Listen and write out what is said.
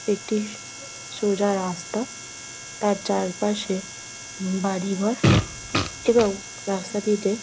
একটি সোজা রাস্তা | তার চারপাশে বাড়ি ঘর এবং রাস্তাটিতে --